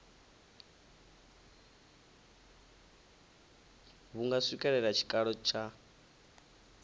vhu nga swikelela tshikalo tsha